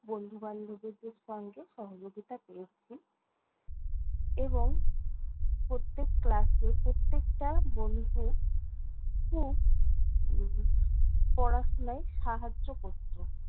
বন্ধু-বান্ধবীদের সঙ্গে সহযোগিতা পেয়েছি এবং প্রত্যেক class এ প্রত্যেকটা বন্ধু খুব উম পড়াশোনায় সাহায্য করতো।